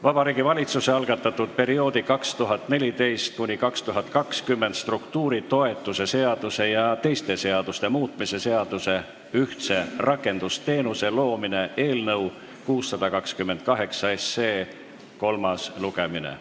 Vabariigi Valitsuse algatatud perioodi 2014–2020 struktuuritoetuse seaduse ja teiste seaduste muutmise seaduse eelnõu 628 kolmas lugemine.